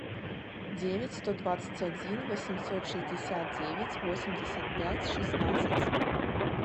девять сто двадцать один восемьсот шестьдесят девять восемьдесят пять шестнадцать